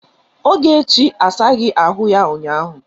Ogechi asaghi ahụ ya ụnyaahụ.